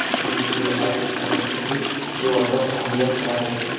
পিছনে ICC champions trophy এবং world cup ফাইনালের খেলা চলছে।